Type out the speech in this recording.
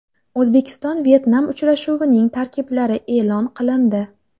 O‘zbekiston Vyetnam uchrashuvining tarkiblari e′lon qilindi.